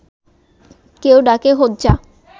কেউ ডাকে হোজ্জা